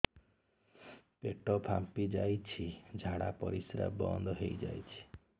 ପେଟ ଫାମ୍ପି ଯାଇଛି ଝାଡ଼ା ପରିସ୍ରା ବନ୍ଦ ହେଇଯାଇଛି